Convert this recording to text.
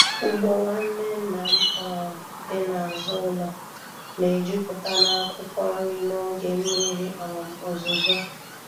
Ugbo nwanne nna m um dị n'azụ ụlọ na-ejupụta n'akwụkwọ nri n'oge mmiri um ozuzo.